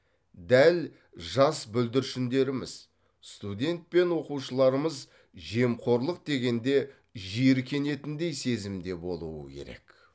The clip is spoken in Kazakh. дәл жас бүрдіршіндеріміз студент пен оқушыларымыз жемқорлық дегенде жиіркенетіндей сезімде болуы керек